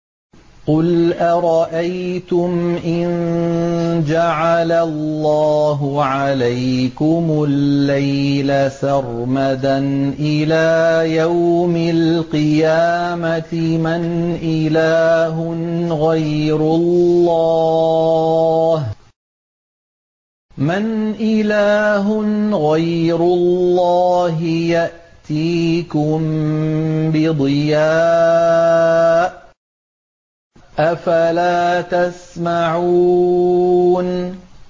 قُلْ أَرَأَيْتُمْ إِن جَعَلَ اللَّهُ عَلَيْكُمُ اللَّيْلَ سَرْمَدًا إِلَىٰ يَوْمِ الْقِيَامَةِ مَنْ إِلَٰهٌ غَيْرُ اللَّهِ يَأْتِيكُم بِضِيَاءٍ ۖ أَفَلَا تَسْمَعُونَ